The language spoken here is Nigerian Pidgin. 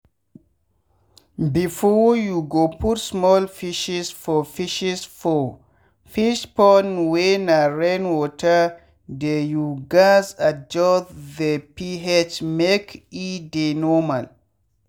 before u go put small fishes for fishes for fish pond wey na rain water deyyou gaz adjust the ph make e dey normal.